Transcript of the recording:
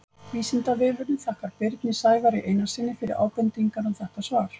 Vísindavefurinn þakkar Birni Sævari Einarssyni fyrir ábendingar um þetta svar.